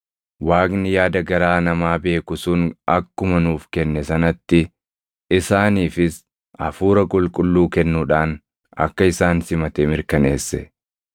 Waaqni yaada garaa namaa beeku sun akkuma nuuf kenne sanatti isaaniifis Hafuura Qulqulluu kennuudhaan akka isaan simate mirkaneesse.